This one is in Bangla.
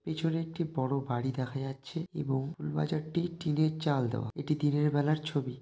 পিছনে একটি বড়ো বাড়ি দেখা যাচ্ছে এবং ফুল বাজারটি টিনের চাল দেওয়া। এটি দিনের বেলার ছবি।